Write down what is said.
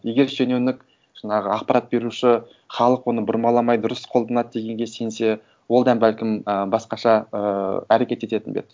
егер шенеунік жаңағы ақпарат беруші халық оны бұрмаламай дұрыс қолданады дегенге сенсе ол да бәлкім ы басқаша ыыы әрекет ететін бе еді